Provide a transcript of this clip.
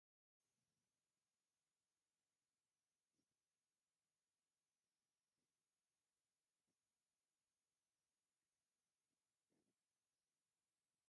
ናይ ሃፀይ የውሃንስ ቤተ -መንግስቲ ኣብ መቀለ ይርከብ ። እቲ ቤተ-መንግስቲ ኣብ ደስ ዝብል ለምለም ቦታ ድማ ይርከብ ። እቲ ቤተ-መንግስቲ መዓዝ ዓ/ም ተሰሪሑ ?